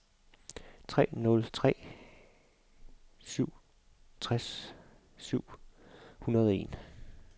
tre nul tre syv tres syv hundrede og en